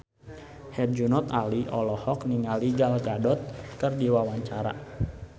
Herjunot Ali olohok ningali Gal Gadot keur diwawancara